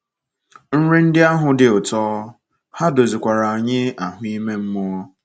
Nri ndị ahụ dị ụtọ — ha dozikwara anyị ahụ́ ime mmụọ.